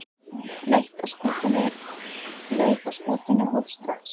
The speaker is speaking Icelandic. Leit að skútunni hófst strax.